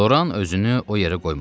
Loran özünü o yerə qoymadı.